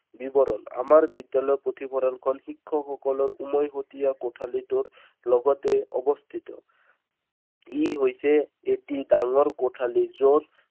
বিৱৰণ। আমাৰ বিদ্যালয়ৰ পুথিভঁৰালখন শিক্ষকসকলৰ উমৈহতীয়া কোঠালীটোৰ লগতেই অৱস্থিত। ই হৈছে এটি ডাঙৰ কোঠালী য'ত